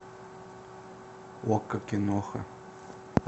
окко киноха